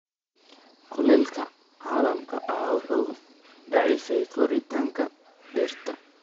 Kulaylka caalamiga ah wuxuu daciifiyaa koritaanka dhirta.